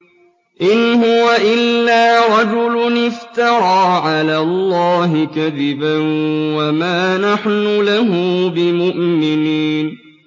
إِنْ هُوَ إِلَّا رَجُلٌ افْتَرَىٰ عَلَى اللَّهِ كَذِبًا وَمَا نَحْنُ لَهُ بِمُؤْمِنِينَ